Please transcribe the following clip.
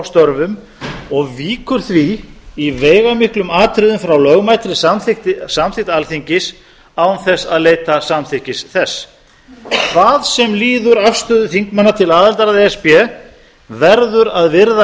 störfum og víkur því í veigamiklum atriðum frá lögmætri samþykkt alþingis án þess að leita samþykkis þess hvað sem líður afstöðu þingmanna til aðildar að e s b verður að virða